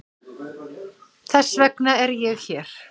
Þess vegna er ég hér.